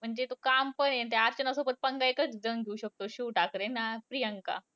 म्हणजे तो calm पण आहे. त्या अर्चनासोबत पंगा एकच जण घेऊ शकतो. शिव ठाकरे आणि प्रियांका.